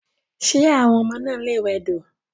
Ṣé àwọn ọmọ náà lè wẹdò..